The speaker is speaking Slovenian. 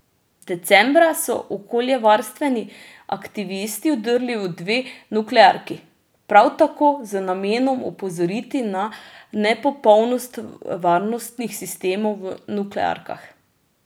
Decembra so okoljevarstveni aktivisti vdrli v dve nuklearki, prav tako z namenom opozoriti na nepopolnost varnostnih sistemov v nuklearkah.